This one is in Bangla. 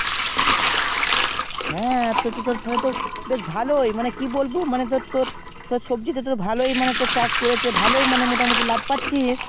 হ্যাঁ তো তোর তাহলে ভালোই মানে কি বলবো মানে তোর তোর সবজি তে তুই ভালোই চাষ করেছিস ভালোই মোটা মতি ভালোই লাভ পাচ্ছিস